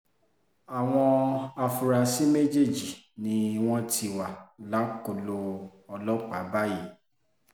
àwọn afurasí méjèèjì ni wọ́n ti wà lákọlò ọlọ́pàá báyìí